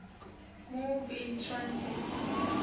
move in transit